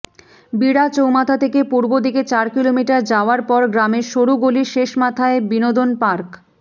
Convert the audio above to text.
বিড়া চৌমাথা থেকে পূর্বদিকে চার কিলোমিটার যাওয়ার পর গ্রামের সরু গলির শেষমাথায় বিনোদন পার্ক